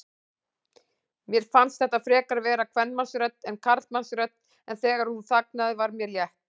Mér fannst þetta frekar vera kvenmannsrödd en karlmannsrödd, en þegar hún þagnaði var mér létt.